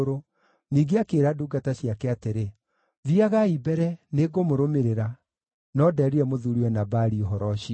Ningĩ akĩĩra ndungata ciake atĩrĩ, “Thiiagai mbere; nĩngũmũrũmĩrĩra.” No ndeerire mũthuuriwe Nabali ũhoro ũcio.